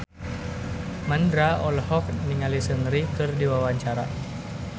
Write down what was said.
Mandra olohok ningali Seungri keur diwawancara